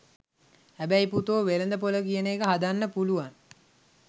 හැබැයි පුතෝ වෙළඳ පොල කියන එක හදන්න පුලුවන්